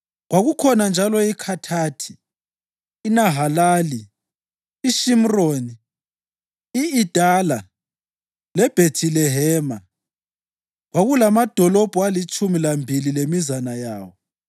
Kwakukhona njalo iKhathathi, iNahalali, iShimroni, i-Idala leBhethilehema. Kwakulamadolobho alitshumi lambili lemizana yawo.